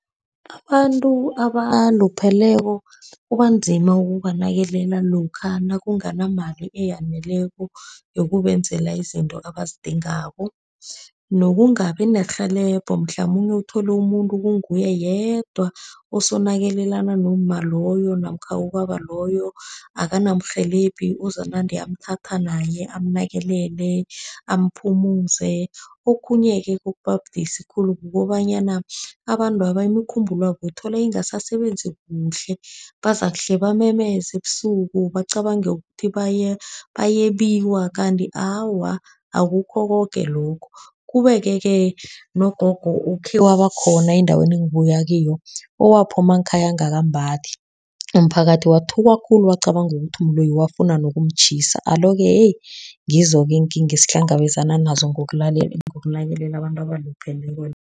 Abantu abalupheleko kubanzima ukubanakelela lokha nakunganamali eyaneleko yokubenzela izinto abazidingako. Nokungabi nerhelebho, mhlamunye uthole umuntu kunguye yedwa osanakelelana nomma loyo, namkha ubaba loyo. Akanamrhelebhi ozakunande amthathe naye, amnakelele, amphumuze. Okhunye-ke okuba budisi khulu kukobanyana abantwaba imikhumbulo yabo uthola ingasasebenzi kuhle, bazakuhle bamemezela ebusuku, bacabange ukuthi bayebiwa. Kanti awa, akukho koke lokho. Kubeke-ke nogogo ukhe waba khona endaweni engibuya kiyo, owaphuma ngekhaya angakambathi. Umphakathi wathuka khulu, wacabanga ukuthi umloyi, wafunda wokumtjhisa. Alo-ke ngizo-ke iinkinga esihlangabezana nazo ngokunakelela abantu abalupheleko.